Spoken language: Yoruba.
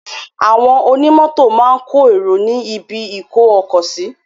Àwọn ọnimọ́tò máa kọ èrò ní ibi-ìkó-ọkọ̀ sí.